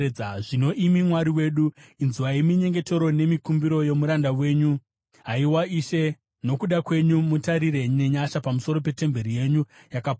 “Zvino, imi Mwari wedu, inzwai minyengetero nemikumbiro yomuranda wenyu. Haiwa Ishe, nokuda kwenyu, mutarire nenyasha pamusoro petemberi yenyu yakaparara.